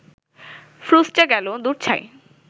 ফ্রুসটা গেল, দূর ছাই